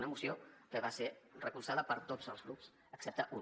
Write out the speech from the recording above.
una moció que va ser recolzada per tots els grups excepte un